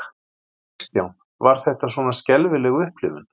Kristján: Var þetta svona skelfileg upplifun?